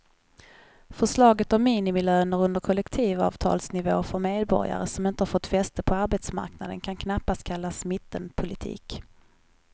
Förslaget om minimilöner under kollektivavtalsnivå för medborgare som inte har fått fäste på arbetsmarknaden kan knappast kallas mittenpolitik.